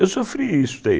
Eu sofri isso daí